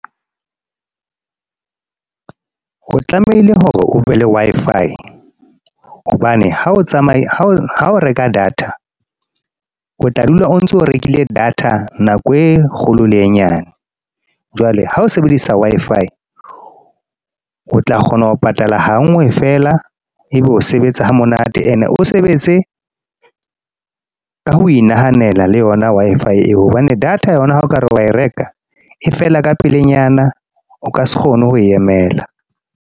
O tlamehile hore o be le Wi-Fi. Hobane ha o tsamaya, ha o reka data. O tla dula o ntso rekile data nako e kgolo le e nyane. Jwale ha o sebedisa Wi-Fi, o tla kgona ho patala hangwe fela. Ebe o sebetsa ha monate. E ne o sebetse ka ho e nahanela le yona Wi-Fi eo. Hobane data yona ha okare wa e reka, e fela ka pelenyana, o ka se kgone ho e emela.